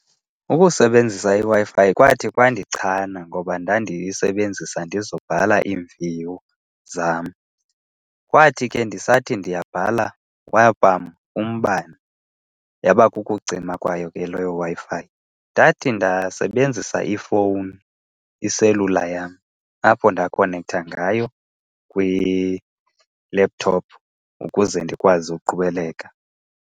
Ukusebenzisa iWi-Fi kwathi kwathi kwandichana ngoba ndandiyisebenzisa ndizobhala iimviwo zam. Kwathi ke ndisathi ndiyabhala kwapam umbane, yaba kukucima kwayo ke leyo Wi-Fi. Ndathi ndasebenzisa ifowuni, iselula yam apho ndakhonektha ngayo kwi-laptop ukuze ndikwazi ukuqhubeleka.